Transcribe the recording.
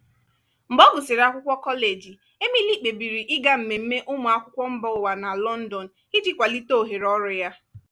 mgbe ọ gụsịrị akwụkwọ kọleji emily kpebiri ịga mmemme ụmụ akwụkwọ mba ụwa na london iji kwalite ohere ọrụ ya.